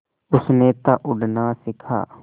उसने था उड़ना सिखा